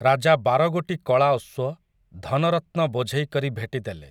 ରାଜା ବାରଗୋଟି କଳା ଅଶ୍ୱ, ଧନରତ୍ନ ବୋଝେଇ କରି ଭେଟି ଦେଲେ ।